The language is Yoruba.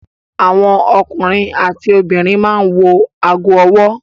Àwọn ọkùnrin àti obìnrin máa ń wọ ago-ọwọ́.